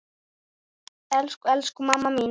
Elsku, elsku mamma mín.